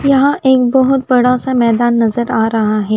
यहाँ एक बहोत बड़ा सा मैदान नज़र आरहा है।